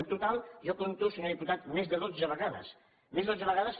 en total jo compto senyor diputat més de dotze vegades més de dotze vegades